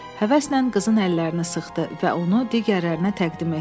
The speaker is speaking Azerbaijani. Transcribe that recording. Həvəslə qızın əllərini sıxdı və onu digərlərinə təqdim etdi.